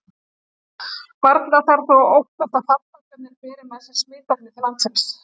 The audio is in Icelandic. Varla þarf þó að óttast að farfuglarnir beri með sér smitefnið til Íslands.